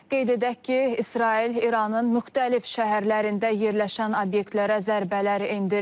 Qeyd edək ki, İsrail İranın müxtəlif şəhərlərində yerləşən obyektlərə zərbələr endirib.